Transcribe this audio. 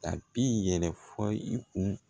A bi yɛrɛ fɔ i kun